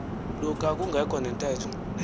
luka kungekho ntetho